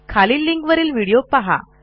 खालील लिंकवरील व्हिडीओ पहा